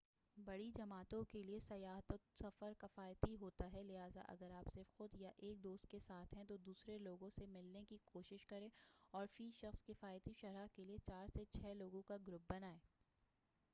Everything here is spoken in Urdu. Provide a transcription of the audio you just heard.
بڑی جماعتوں کیلئے سیاحتی سفر کفایتی ہوتا ہے لہذا اگر آپ صرف خود یا ایک دوست کے ساتھ ہیں تو دوسرے لوگوں سے ملنے کی کوشش کریں اور فی سخص کفایتی شرح کیلئے چار سے چھہ لوگوں کا گروپ بنائیں